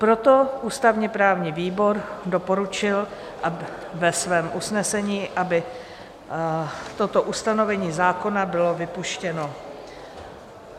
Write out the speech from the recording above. Proto ústavně-právní výbor doporučil ve svém usnesení, aby toto ustanovení zákona bylo vypuštěno.